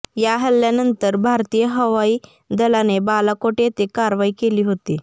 या हल्ल्यानंतर भारतीय हवाई दलाने बालाकोट येथे कारवाई केली होती